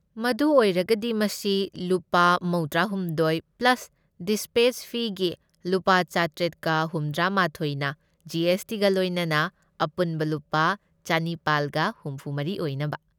ꯃꯗꯨ ꯑꯣꯏꯔꯒꯗꯤ ꯃꯁꯤ ꯂꯨꯄꯥ ꯃꯧꯗ꯭ꯔꯥꯍꯨꯝꯗꯣꯢ ꯄ꯭ꯂꯁ ꯗꯤꯁꯄꯦꯆ ꯐꯤꯒꯤ ꯂꯨꯄꯥ ꯆꯥꯇ꯭ꯔꯦꯠꯀ ꯍꯨꯝꯗ꯭ꯔꯥꯃꯥꯊꯣꯢꯅ ꯖꯤ. ꯑꯦꯁ. ꯇꯤ. ꯒ ꯂꯣꯏꯅꯅ ꯑꯄꯨꯟꯕ ꯂꯨꯄꯥ ꯆꯅꯤꯄꯥꯜꯒ ꯍꯨꯝꯐꯨꯃꯔꯤ ꯑꯣꯏꯅꯕ꯫